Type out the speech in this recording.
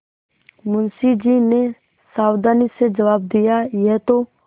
मुंशी जी ने सावधानी से जवाब दियायह तो